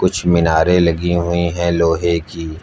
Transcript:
कुछ मीनारे लगी हुई है लोहे की।